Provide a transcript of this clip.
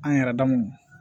An yɛrɛ dama